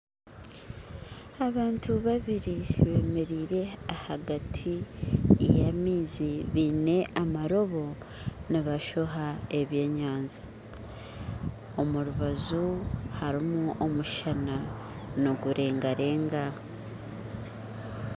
Abantu babiiri bemeraire ahagati y'amaizi baine amaroobo nibashoha ebyenyanja, omu rubanju harimu omushaana nigurengarenga